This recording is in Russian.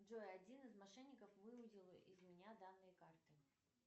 джой один из мошенников выудил из меня данные карты